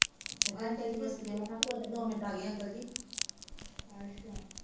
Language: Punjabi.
ਕਹਿੰਦਾ ਆਂਟੀ ਜੀ ਕਿਸਤ ਦੇਣੀ ਆ ਮੈ ਕਿਹਾ ਖੋਲੋਜੋਂ ਦੋ ਮਿੰਟ ਆਗੇ ਅੰਕਲ ਜੀ